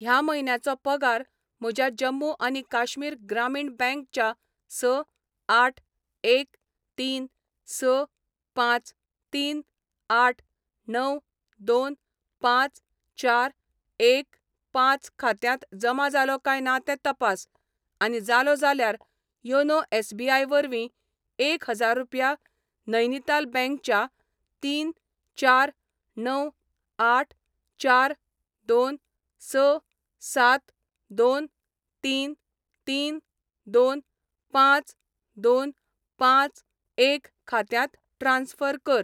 ह्या म्हयन्याचो पगार म्हज्या जम्मू आनी काश्मीर ग्रामीण बँक च्या स आठ एक तीन स पांच तीन आठ णव दोन पांच चार एक पांच खात्यांत जमा जालो काय ना तें तपास, आनी जालो जाल्यार योनो एस.बी.आय वरवीं एक हजार रुपया नैनीताल बँक च्या तीन चार णव आठ चार दोन स सात दोन तीन तीन दोन पांच दोन पांच एक खात्यांत ट्रान्स्फर कर.